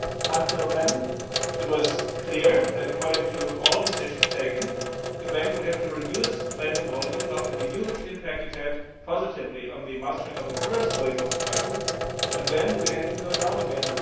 Until then it was clear that, according to all decisions taken, the Bank would have to reduce lending volume after the huge positive impact it had had on the mastering of the first wave of the crisis, but then we had to go down again.